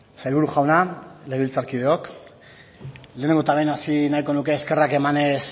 sailburu jauna legebiltzarkideok lehenengo eta behin hasi nahiko nuke eskerrak emanez